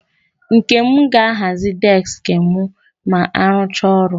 Nkem ga-ahazi deski m ma arụchaa ọrụ.